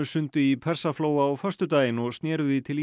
sundi í Persaflóa á föstudaginn og snéru því til